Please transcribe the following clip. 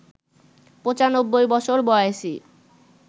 ৯৫ বছর বয়েসী